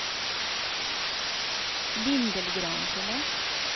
Vindelgransele